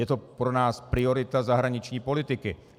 Je to pro nás priorita zahraniční politiky.